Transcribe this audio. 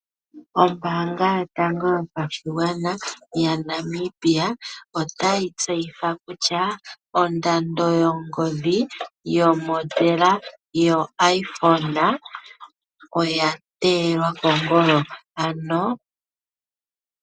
Ombanga yotango yopashingwana yaNamibia otayi tseyitha kutya ondando yongodhi yomondela yo iPhone oya teelwa kongolo.